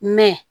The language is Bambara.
Mɛ